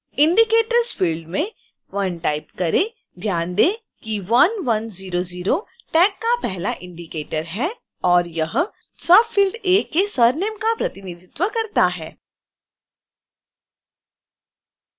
indicators field में 1 type करें